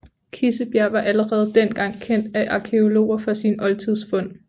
Kissebjerg var allerede dengang kendt af arkæologer for sine oldtidsfund